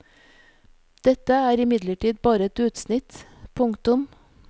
Dette er imidlertid bare et utsnitt. punktum